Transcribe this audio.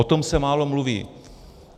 O tom se málo mluví.